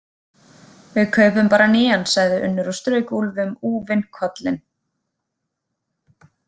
Við kaupum bara nýjan, sagði Unnur og strauk Úlfi um úfinn kollinn.